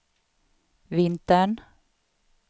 vintern